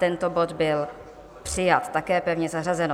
Tento bod byl přijat, je pevně zařazeno.